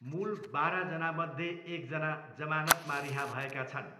मूल बाह्रजनामध्ये एकजना जमानतमा रिहा भएका छन्।